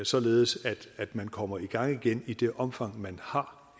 således at man kommer i gang igen i det omfang man har